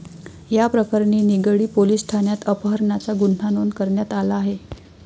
याप्रकरणी निगडी पोलिस ठाण्यात अपहरणाचा गुन्हा नोंद करण्यात आला आहे.